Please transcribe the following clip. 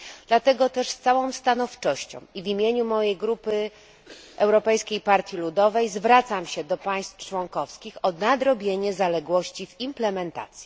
Dlatego też z całą stanowczością i w imieniu mojej grupy Europejskiej Partii Ludowej zwracam się do państw członkowskich o nadrobienie zaległości w implementacji.